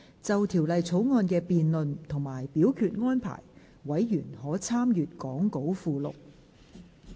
就條例草案的辯論及表決安排，委員可參閱講稿附錄。